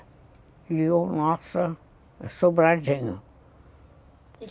E o nosso sobradinho.